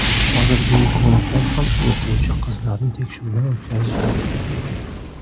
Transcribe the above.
Hozir ginekologlar ham o‘quvchi qizlarni tekshiruvdan o‘tkazishmoqda.